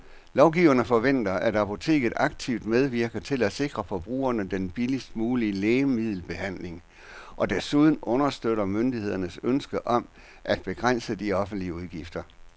Lovgiverne forventer, at apoteket aktivt medvirker til at sikre forbrugerne den billigst mulige lægemiddelbehandling og desuden understøtter myndighedernes ønske om at begrænse de offentlige udgifter.